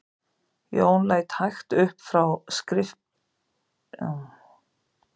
Jón leit hægt upp frá skriftum og gaf vörðunum merki um að lina tökin.